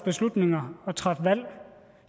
beslutninger og træffe valg